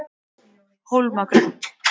Hólmagrund